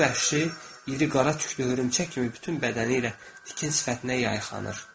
Bu vəhşi iri qara tüklü hörümçək kimi bütün bədəni ilə tikin sifətinə yayxanır.